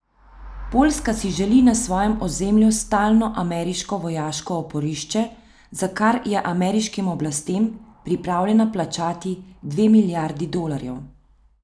Poljska si želi na svojem ozemlju stalno ameriško vojaško oporišče, za kar je ameriškim oblastem pripravljena plačati dve milijardi dolarjev.